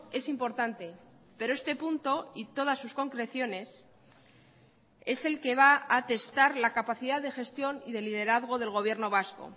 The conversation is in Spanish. es importante pero este punto y todas sus concreciones es el que va a testar la capacidad de gestión y de liderazgo del gobierno vasco